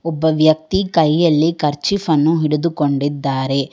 ಒಬ್ಬ ವ್ಯಕ್ತಿ ಕೈಯಲ್ಲಿ ಕರ್ಚೀಫ್ ಅನ್ನು ಹಿಡಿದುಕೊಂಡಿದ್ದಾರೆ.